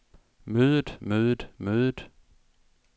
mødet mødet mødet